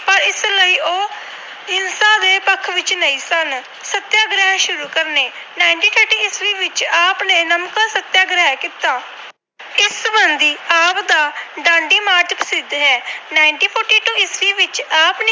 ਹੱਕ ਵਿੱਚ ਨਹੀਂ ਸਨ। ਸਤਿਆਗ੍ਰਹਿ ਸ਼ੁਰੂ ਕਰਨੇ - ਉਨੀ ਸੌ ਤੀਹ ਵਿੱਚ ਆਪ ਨੇ ਨਮਕ ਸਤਿਆਗ੍ਰਹਿ ਕੀਤਾ। ਆਪ ਦਾ ਡਾਂਡੀ March ਪ੍ਰਸਿੱਧ ਹੈ। ਉਨੀ ਸੌ ਚਾਲੀ ਈਸਵੀ ਵਿੱਚ